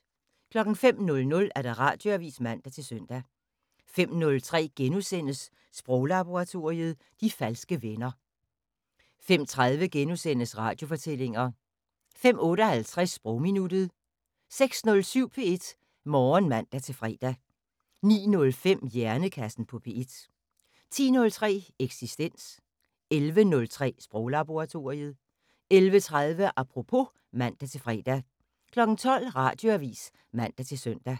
05:00: Radioavis (man-søn) 05:03: Sproglaboratoriet: De falske venner * 05:30: Radiofortællinger * 05:58: Sprogminuttet 06:07: P1 Morgen (man-fre) 09:05: Hjernekassen på P1 10:03: Eksistens 11:03: Sproglaboratoriet 11:30: Apropos (man-fre) 12:00: Radioavis (man-søn)